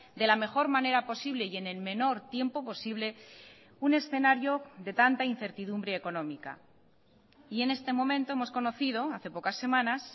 de la mejor manera posible y en el menor tiempo posible un escenario de tanta incertidumbre económica y en este momento hemos conocido hace pocas semanas